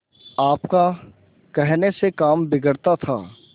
आपका कहने से काम बिगड़ता था